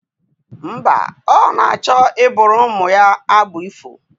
Mba, ọ na-achọ ịbụụrụ ụmụ ya abụ ifo